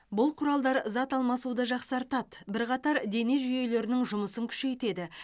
бұл құралдар зат алмасуды жақсартады бірқатар дене жүйелерінің жұмысын күшейтеді